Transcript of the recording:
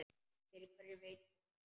Fyrir hverju veit ég ekki.